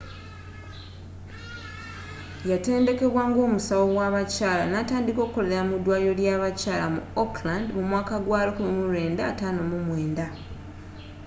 yeatenddekebwa ng'omusawo w'abakyala natandika okolera mu dwaliro ly'a bakyala mu auckland mu mwaka gwa 1959